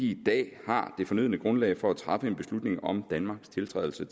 i dag har det fornødne grundlag for at træffe en beslutning om danmarks tiltrædelse